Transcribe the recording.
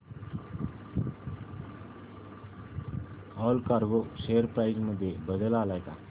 Allcargo share price मध्ये बदल आलाय का